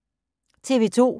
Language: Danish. TV 2